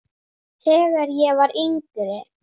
Þegar ég var yngri.